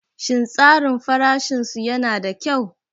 Shin tsarin farashin su yana da kyau?